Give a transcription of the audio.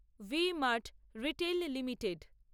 V-Mart retail limited